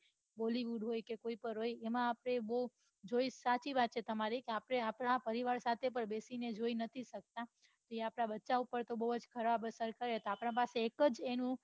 bollywood હોય કે કોઈ પન હોય એમાં આપડે જો એમ સાચી વાત છે તમાર્રી આપડા પરિવાર સાથે પન બેસી ને જોઈ નથી સકતા તે આપદા બચ્ચા ઉપર ખુબ ખરાબ અસર પડે આપડા પાસે એક એનું